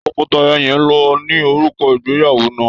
Tọkọtaya yẹn ló ni òrùka ìgbéyàwó náà.